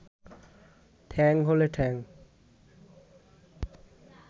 ঠ্যাং হলে ঠ্যাং